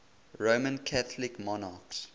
roman catholic monarchs